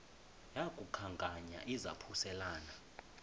yaku khankanya izaphuselana